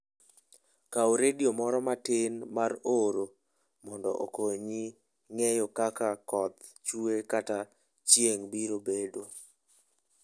Kaw redio moro matin mar oro mondo okonyi ng'eyo kaka koth chue kata chieng' biro bedo.